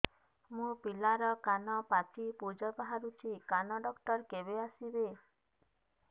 ମୋ ପିଲାର କାନ ପାଚି ପୂଜ ବାହାରୁଚି କାନ ଡକ୍ଟର କେବେ ଆସିବେ